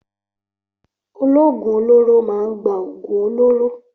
Ológùn olóró máa ń gba oògùn olóró